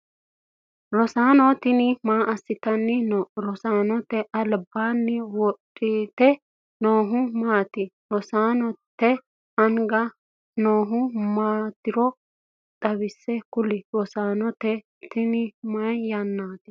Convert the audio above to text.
Rosaano tinni maa asitanni no? Rosaanote albaanni wodhite noohu maati? Rosaanote anga noohu maatiro xawise kuli? Rosaanote tinni mayi yannaati?